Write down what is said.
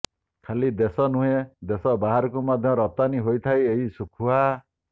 ଖାଲି ଦେଶ ନୁହେଁ ଦେଶ ବାହାରକୁ ମଧ୍ୟ ରପ୍ତାନୀ ହୋଇଥାଏ ଏହି ଶୁଖୁଆ